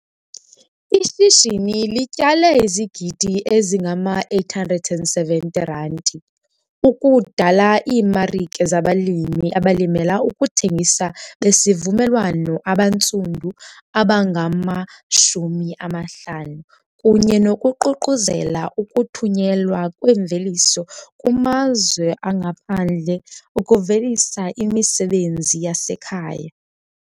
"Ishishini lityale izigidi ezingama-R870 ukudala iimarike zabalimi abalimela ukuthengisa besivumelwano abantsundu abangama-50 kunye nokuququzela ukuthunyelwa kwemveliso kumazwe angaphandle ukuvelisa imisebenzi yasekhaya."